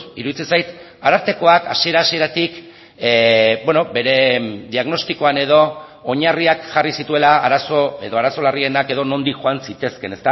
iruditzen zait arartekoak hasiera hasieratik bere diagnostikoan edo oinarriak jarri zituela arazo edo arazo larrienak edo nondik joan zitezkeen